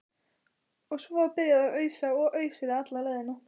Og svo var byrjað að ausa og ausið alla leiðina.